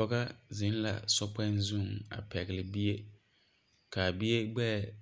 Pɔgega zeŋ la so kpoŋ zu a pegle bie kyɛ kaa bie gbeɛ a